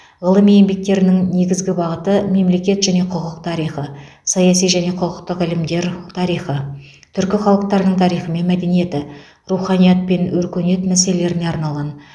ғылыми еңбектерінің негізгі бағыты мемлекет және құқық тарихы саяси және құқықтық ілімдер тарихы түркі халықтарының тарихы мен мәдениеті руханият пен өркениет мәселелеріне арналған